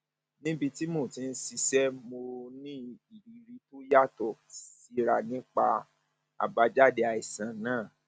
níbi tí mo ti ń ṣiṣẹ mo ní ìrírí tó yàtọ síra nípa àbájáde àìsàn náà